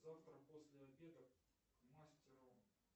завтра после обеда к мастеру